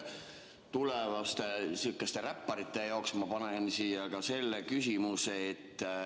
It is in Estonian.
Tulevaste räpparite jaoks ma panen siia ka selle küsimuse.